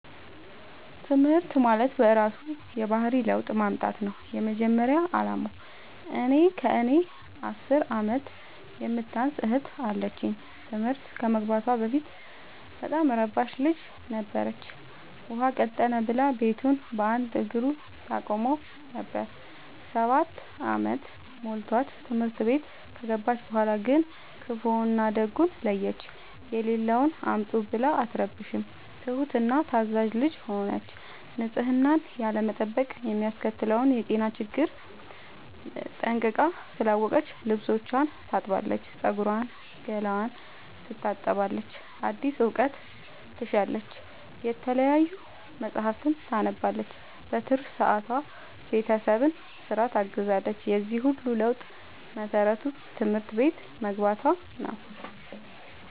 ትምህርት ማለት በእራሱ የባህሪ ለውጥ ማምጣት ነው የመጀመሪያ አላማው። እኔ ከእኔ አስር አመት የምታንስ እህት አለችኝ ትምህርት ከመግባቷ በፊት በጣም እረባሽ ልጅ ነበረች። ውሃ ቀጠነ ብላ ቤቱን በአንድ እግሩ ታቆመው ነበር። ሰባት አመት ሞልቶት ትምህርት ቤት ከገባች በኋላ ግን ክፋውን እና ደጉን ለየች። የሌለውን አምጡ ብላ አትረብሽም ትሁት እና ታዛዣ ልጅ ሆነች ንፅህናን ያለመጠበቅ የሚያስከትለውን የጤና ችግር ጠንቅቃ ስላወቀች ልብስቿን ታጥባለች ፀጉሯን ገላዋን ትታጠባለች አዲስ እውቀት ትሻለች የተለያዩ መፀሀፍትን ታነባለች በትርፍ ሰዓቷ ቤተሰብን ስራ ታግዛለች የዚህ ሁሉ ለውጥ መሰረቱ ትምህርት ቤት መግባቶ ነው።